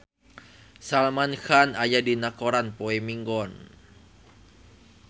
Salman Khan aya dina koran poe Minggon